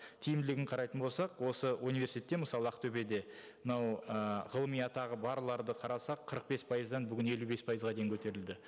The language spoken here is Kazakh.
тиімділігін қарайтын болсақ осы университетте мысалы ақтөбеде мынау ыыы ғылыми атағы барларды қарасақ қырық бес пайыздан бүгін елу бес пайызға дейін көтерілді